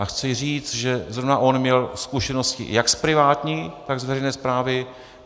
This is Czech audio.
A chci říct, že zrovna on měl zkušenosti jak z privátní, tak z veřejné správy.